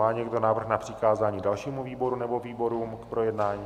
Má někdo návrh na přikázání dalšímu výboru nebo výborům k projednání?